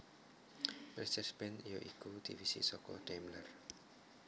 Mercedes Benz ya iku divisi saka Daimler